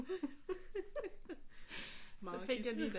Så fik jeg lige den